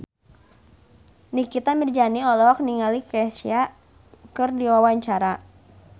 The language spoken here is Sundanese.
Nikita Mirzani olohok ningali Kesha keur diwawancara